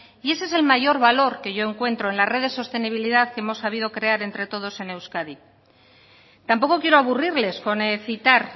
y ese es el mayor valor que yo encuentro en la red de sostenibilidad que hemos sabido crear entre todos en euskadi tampoco quiero aburrirles con citar